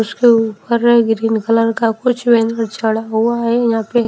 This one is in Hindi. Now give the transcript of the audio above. उसके ऊपर ग्रीन कलर का कुछ चढ़ा हुआ है यहां पे--